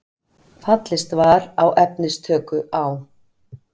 Fallist var á efnistöku á